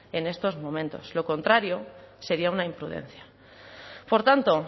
en estos momentos lo contrario sería una imprudencia por tanto